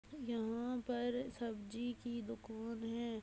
यहाँ पर सब्जी की दुकोन है।